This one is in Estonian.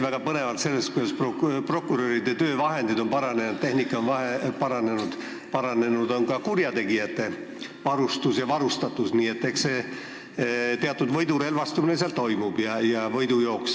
... väga põnevalt sellest, kuidas prokuröride töövahendid ja tehnika on paranenud, aga paranenud on ka kurjategijate varustus ja varustatus – eks seal teatud võidurelvastumine ja võidujooks toimub.